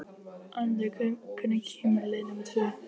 Anita, hvenær kemur leið númer tvö?